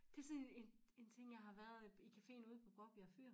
Det sådan en en ting jeg har været i Caféen ude på Bovbjerg fyr